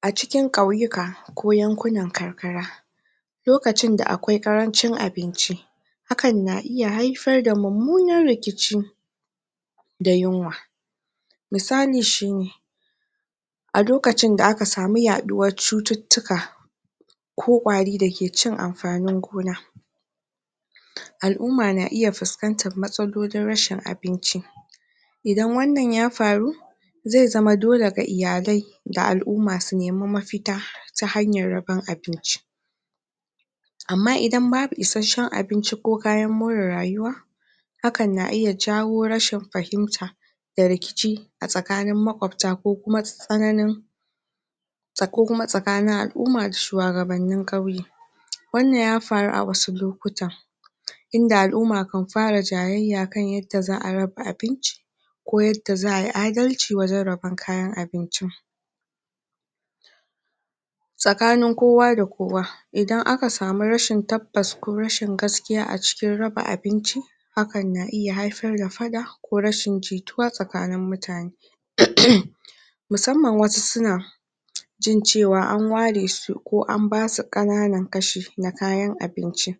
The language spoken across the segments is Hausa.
A cikin kauyuka ko yankunan karkara lokacin da akwai karancin abinci hakan na iya haifar da mummunan rikici da yunwa misali shi ne a lokacin da aka sami yaduwar cututtuka, kokwarai dake cin amfanin gona al'umma na iya fuskantar matsalolin rashin abinci, idan wannan ya faru zama dole ga iyalai da al'umma su nemi mafita ta hanyar rabon abinci amma idan babu isasshen abinci ko kayan more rayuwa hakan na iya jawo rashin fahimta da rikici a tsakanin makwabta ko kuma tsananin ko kuma tsakanin al'umma da shuwagabannin kauye Wannan ya faru a wasu lokutan inda al'ummakanfara jayyayya kan yadda za'a raba abinci Ko yadda za'ay adalci wajen rabon kayan abinci Tsakanin kowa da kowa. Idan akasamu rashin tabbas ko rashin gaskiya a cikin raba abinci, Hakan na iya haifar da fada ko rashin jituwa tsakanin mutane Musamman wasu suna jin cewa an ware su Ko an basu kananan kashi na kayan abinci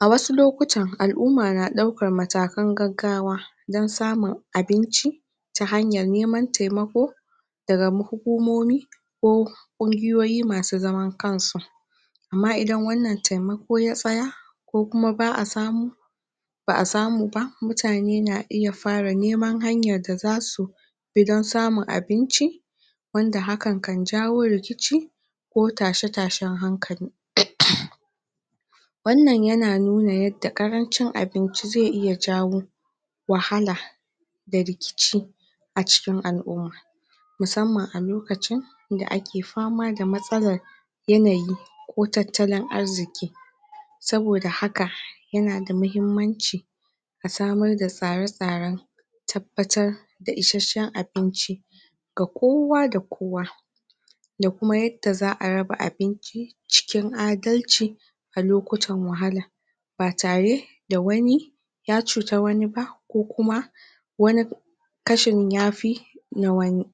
A wasu lokutan alumma na daukan matakan gaggawa don samin abinci ta hanyar neman taimako daga hukumomi ko kungiyoyi masu zaman kansu amma idan wannan taimako ya tsaya ko kuma ba'a samu ba'a samu ba, mutane na ita fara neman hanya da zasu bi don samin abinci, wanda hakan kan jawo rikici ko tashe-tashen hankali. Wannan yana nuna yadda karancin abinci zai iya jawo wahala da rikici a cikin al'umma musamman a lokacin da ake fama da matsalar yanayi ko tattalin arziki Saboda haka yana da muhimmanci a samar da tsare-tsaren a tabbatar da isasshen abinci ga kowa da kowa Da kuma yadda za'a raba abinci cikin adalci a lokutan wahala ba tare da wani ya cuci wani ba ko kuma wani kashin ya fi na wani.\